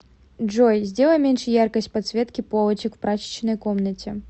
джой сделай меньше яркость подсветки полочек в прачечной комнате